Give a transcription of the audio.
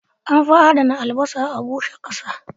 An fi adana albasa a bushe ƙasa